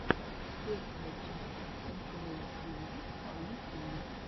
первая часть миклой тиви эм ти ви